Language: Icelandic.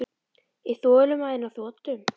Er þolinmæðin á þrotum?